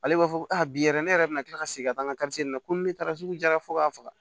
Ale b'a fɔ ko a bi yɛrɛ ne yɛrɛ bina kila ka segin ka taa n ka na ko ni ne taara sugu jara fo ka faga